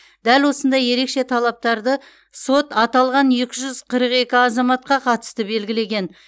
дәл осындай ерекше талаптарды сот аталған екі жүз қырық екі азаматқа қатысты белгілеген